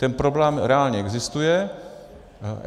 Ten problém reálně existuje.